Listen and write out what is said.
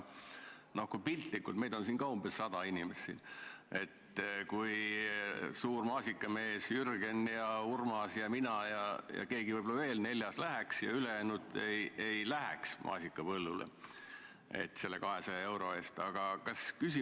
Piltlikult öeldes, meid on siin umbes sada inimest ja suur maasikamees Jürgen ja Urmas ja mina ja keegi neljas võib-olla veel läheks maasikapõllule selle 200 euro eest, aga ülejäänud ei läheks.